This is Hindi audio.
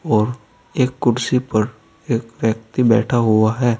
और एक कुर्सी पर एक व्यक्ति बैठा हुआ है।